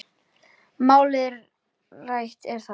Málið rætt er þar.